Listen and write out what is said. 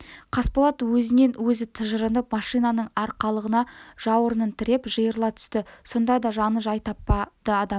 қасболат өзінен өзі тыжырынып машинаның арқалығына жауырынын тіреп жиырыла түсті сонда да жаны жай таппады адамның